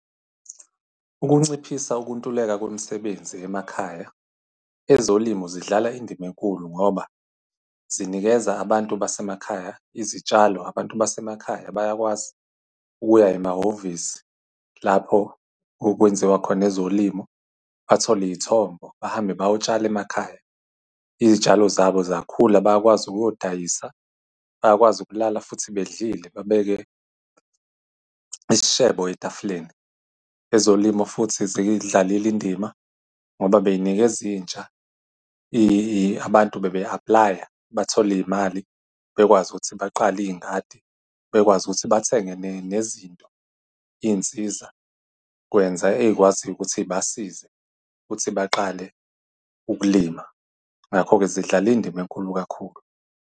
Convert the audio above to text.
Ukunciphisa ukuntuleka kwemisebenzi emakhaya, ezolimo zidlala indima enkulu ngoba zinikeza abantu basemakhaya izitshalo. Abantu basemakhaya bayakwazi ukuya emahhovisi lapho okwenziwa khona ezolimo, bathole iy'thombo, bahambe bayotshala emakhaya. Izitshalo zabo zakhula bayakwazi ukuyodayisa, bayakwazi ukulala futhi bedlile, babeke isishebo etafuleni. Ezolimo futhi ziyidlalile indima ngoba bey'nikeza intsha , abantu bebe-apply-a bathola iy'mali bekwazi ukuthi baqale iy'ngadi, bekwazi ukuthi bathenge nezinto, iy'nsizakwenza ey'kwaziyo ukuthi zibasize ukuthi baqale ukulima. Ngakho-ke zidlala indima enkulu kakhulu.